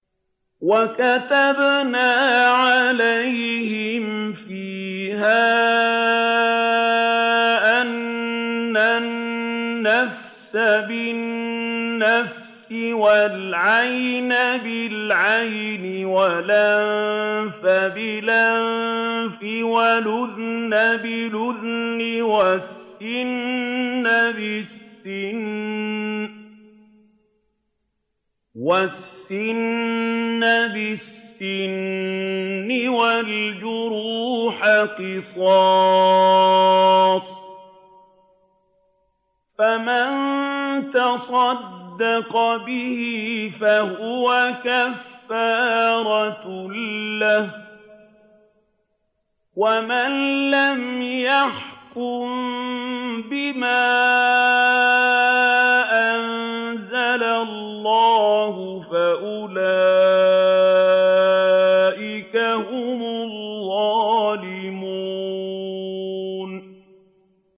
وَكَتَبْنَا عَلَيْهِمْ فِيهَا أَنَّ النَّفْسَ بِالنَّفْسِ وَالْعَيْنَ بِالْعَيْنِ وَالْأَنفَ بِالْأَنفِ وَالْأُذُنَ بِالْأُذُنِ وَالسِّنَّ بِالسِّنِّ وَالْجُرُوحَ قِصَاصٌ ۚ فَمَن تَصَدَّقَ بِهِ فَهُوَ كَفَّارَةٌ لَّهُ ۚ وَمَن لَّمْ يَحْكُم بِمَا أَنزَلَ اللَّهُ فَأُولَٰئِكَ هُمُ الظَّالِمُونَ